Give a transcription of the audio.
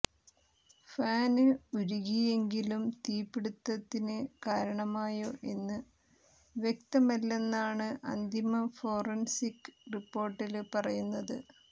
fan ഉരുകിയെങ്കിലും തീപിടുത്തത്തിന് കാരണമായോ എന്ന് വ്യക്തമല്ലെന്നാണ് അന്തിമ ഫോറന്സിക് റിപ്പോര്ട്ടില് പറയുന്നത്